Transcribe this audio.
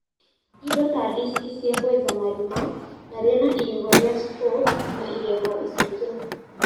indo ta diski cia kwenja marima, na rĩna igego ria spoke na igego iceke